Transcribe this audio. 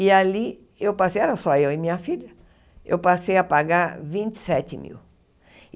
E ali eu passei, era só eu e minha filha, eu passei a pagar vinte e sete mil.